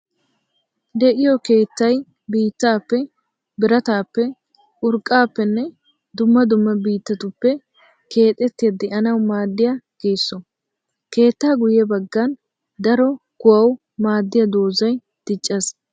De'iyo keettay mittappe, biratappe, urqqappenne dumma dumma biittatuppe keexettiya de'annawu maadiya geesso. Keetta guye bagan daro kuwawu maadiya doozay diccees.